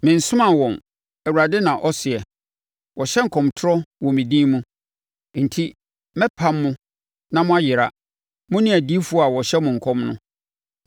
‘Mensomaa wɔn’ Awurade na ɔseɛ. ‘Wɔhyɛ nkɔmtorɔ wɔ me din mu. Enti, mɛpam mo na moayera, mo ne adiyifoɔ a wɔhyɛ mo nkɔm no.’ ”